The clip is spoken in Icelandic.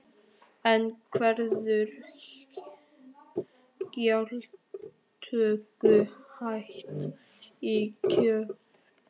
En verður gjaldtöku hætt í kjölfarið?